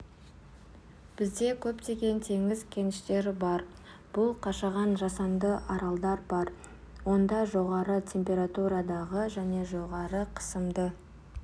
бізде көптеген теңіз кеніштері бар бұл қашаған жасанды аралдар бар онда жоғары температурадағы және жоғары қысымды